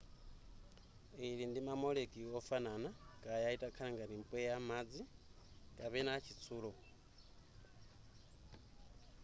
ili ndi ma molecule ofanana kaya itakhale ngati mpweya madzi kapena chitsulo